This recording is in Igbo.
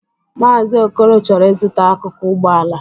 Maazi Okoro chọrọ ịzụta akụkụ Ụgbọala.